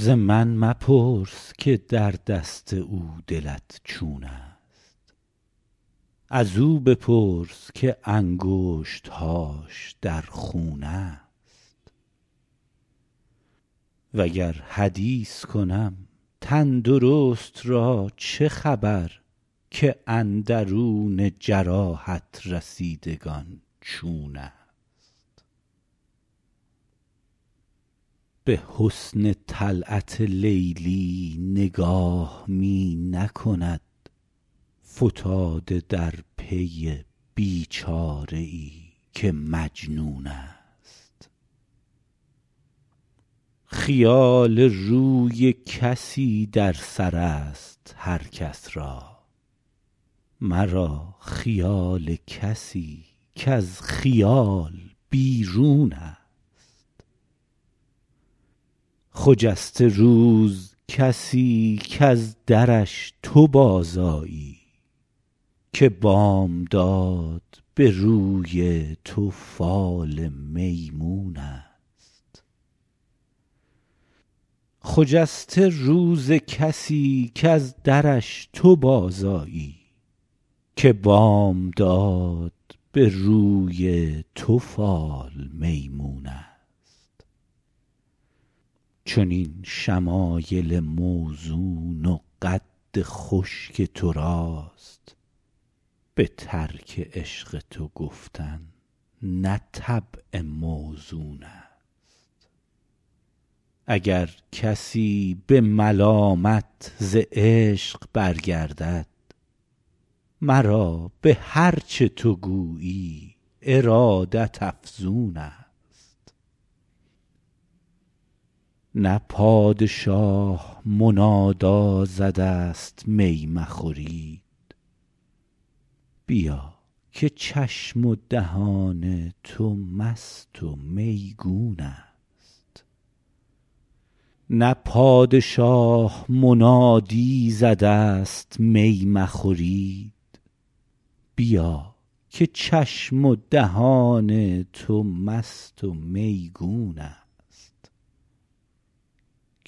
ز من مپرس که در دست او دلت چون است ازو بپرس که انگشت هاش در خون است وگر حدیث کنم تن درست را چه خبر که اندرون جراحت رسیدگان چون است به حسن طلعت لیلی نگاه می نکند فتاده در پی بی چاره ای که مجنون است خیال روی کسی در سر است هر کس را مرا خیال کسی کز خیال بیرون است خجسته روز کسی کز درش تو بازآیی که بامداد به روی تو فال میمون است چنین شمایل موزون و قد خوش که تو راست به ترک عشق تو گفتن نه طبع موزون است اگر کسی به ملامت ز عشق برگردد مرا به هر چه تو گویی ارادت افزون است نه پادشاه منادی زده است می مخورید بیا که چشم و دهان تو مست و میگون است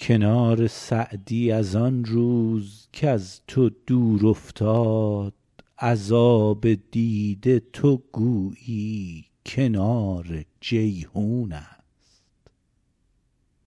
کنار سعدی از آن روز کز تو دور افتاد از آب دیده تو گویی کنار جیحون است